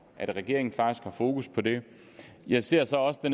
at regeringen faktisk har fokus på det jeg ser så også det